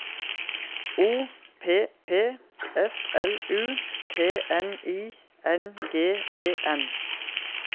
O P P S L U T N I N G E N